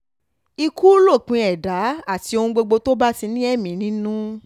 ikú lópin ẹ̀dá àti ohun gbogbo tó bá ti ní ẹ̀mí nínú